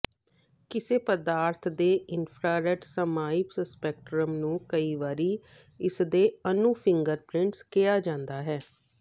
ਕਿਸੇ ਪਦਾਰਥ ਦੇ ਇਨਫਰਾਰੈੱਡ ਸਮਾਈਪ ਸਪੈਕਟ੍ਰਮ ਨੂੰ ਕਈ ਵਾਰੀ ਇਸਦੇ ਅਣੂ ਫਿੰਗਰਪ੍ਰਿੰਟ ਕਿਹਾ ਜਾਂਦਾ ਹੈ